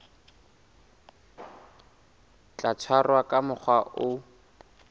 tla tshwarwa ka mokgwa o